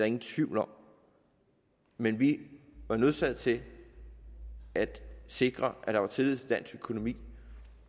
ingen tvivl om men vi var nødsaget til at sikre at der var tillid til dansk økonomi